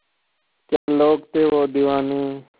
क्या लोग थे वो दीवाने